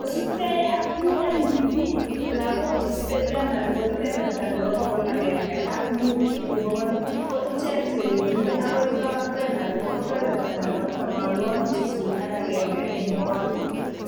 Kosubkei ak UNDP ,lagok che chutei primary ko kebeberta nebo bokol agenge ak muut eng bokol ako ichek che bendi agoi lower primary ko kebeberta nebo tamanwokik sisit ak agenge eng bokol